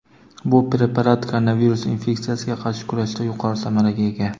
Bu preparat koronavirus infeksiyasiga qarshi kurashda yuqori samaraga ega.